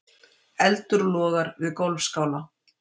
Eldur logar við golfskála